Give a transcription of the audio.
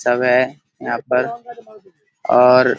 सब है यहाँ पर और --